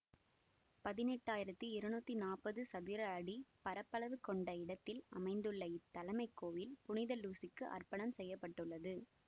பதினெட்டு ஆயிரத்தி இருநூற்றி நாற்பது சதுர அடி பரப்பளவு கொண்ட இடத்தில் அமைந்துள்ள இத் தலைமைக் கோயில் புனித லூசிக்கு அர்ப்பணம் செய்ய பட்டுள்ளது